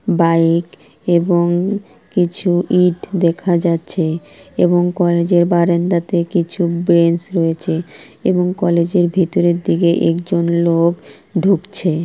Bike এবং কিছু ইট দেখা যাচ্ছে এবং কলেজ -এর বারান্দাতে কিছু বেঞ্চ রয়েছে এবং কলেজ -এর ভেতরের দিকে একজন লোক ঢুকছে।